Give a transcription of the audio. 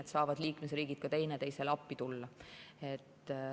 Siis saavad liikmesriigid teineteisele appi tulla.